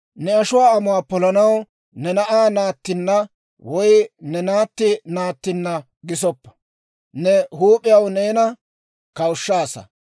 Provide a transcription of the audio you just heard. « ‹Ne ashuwaa amuwaa polanaw ne na'aa naattinna woy ne naatti naattinna gisoppa. Ne huup'iyaw neena kawushshaasa.